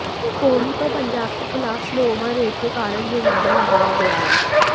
कोहली पर पंजाब के खिलाफ स्लो ओवर रेट के कारण जुर्माना लगाया गया है